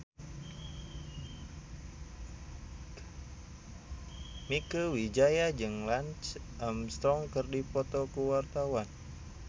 Mieke Wijaya jeung Lance Armstrong keur dipoto ku wartawan